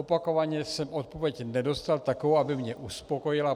Opakovaně jsem odpověď nedostal takovou, aby mě uspokojila.